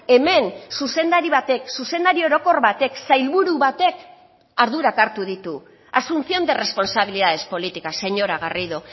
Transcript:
hemen zuzendari batek zuzendari orokor batek sailburu batek ardurak hartu ditu asunción de responsabilidades políticas señora garrido